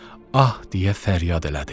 Ah deyə fəryad elədi.